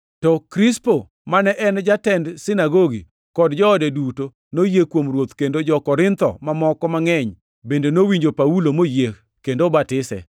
To Krispo, mane en jatend sinagogi, kod joode duto, noyie kuom Ruoth kendo jo-Korintho mamoko mangʼeny bende nowinjo Paulo moyie kendo obatisi.